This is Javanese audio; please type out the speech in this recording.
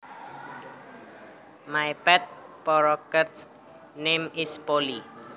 My pet parakeets name is Polly